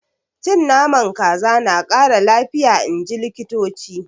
Cin Naman kaza na Kara lafiya inji likitoci.